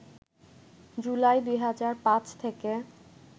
জুলাই ২০০৫ থেকে